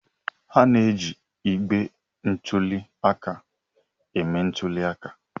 A na-eji igbe ntụli aka eme ntuli aka.